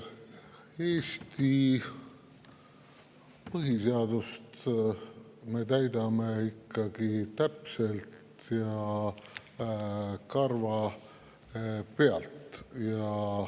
Eesti põhiseadust me täidame ikkagi täpselt ja karvapealt.